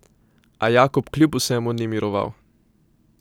A Jakob kljub vsemu ni miroval.